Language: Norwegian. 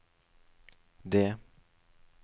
det